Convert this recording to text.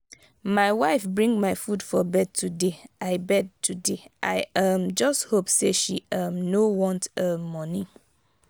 my wife bring my food for bed today i bed today i um just hope say she um no want um money.